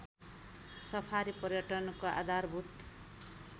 safari पर्यटनको आधारभूत